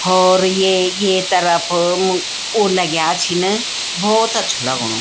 होर ये ये तरफ ओ लग्याँ छिन बहौत अछू लगणु।